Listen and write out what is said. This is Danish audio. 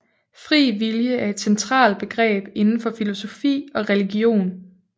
Fri vilje er et centralt begreb inden for filosofi og religion